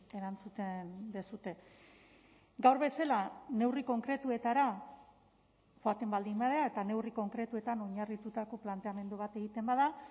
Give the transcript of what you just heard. erantzuten duzue gaur bezala neurri konkretuetara joaten baldin bada eta neurri konkretuetan oinarritutako planteamendu bat egiten bada